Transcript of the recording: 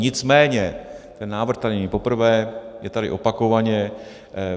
Nicméně ten návrh tady není poprvé, je tady opakovaně.